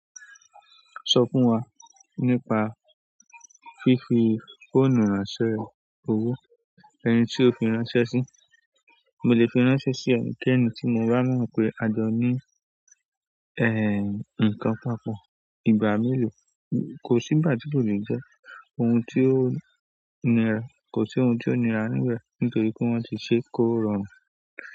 Sọ fún wa nípa fífi fóònù ran ṣẹ́ owó, ẹni tí o fi ránṣẹ́ sí. Mo lè fi ránṣẹ́ sí ẹ̀níkẹ́ẹ̀ní tí mo ba mọ pé a jọ ní e-nǹkan papọ̀ ìgbà mélòó, kò sí ìgbà tí kò lè jẹ́ ohun tí ó nira, kò sí ohun tí ó nira níbẹ̀ nítorí pé wọ́n ti ṣe kó rọrùn.